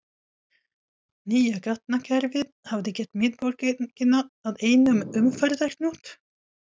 Nýja gatnakerfið hafði gert miðborgina að einum umferðarhnút.